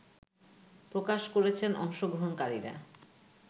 প্রকাশ করেছেন অংশগ্রহণকারীরা